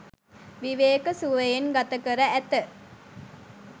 විවේක සුවයෙන් ගත කර ඇත.